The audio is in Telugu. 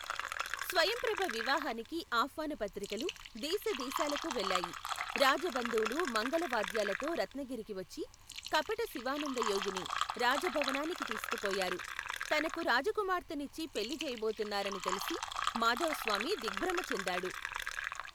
స్వయంప్రభ వివాహానికి ఆహ్వాన పత్రికలు, దేశదేశాలకూ వెళ్లాయి రాజబంధువులు మంగళవాద్యాలతో రత్నగిరికివచ్చి, కపట శివానందయోగిని, రాజభవనానికి తీసుకుపోయారు, తనకు రాజకుమార్తెనిచ్చి పెళ్లిచేయబోతున్నారని తెలిసి మాధవస్వామి దిగ్బ్రమ చెందాడు.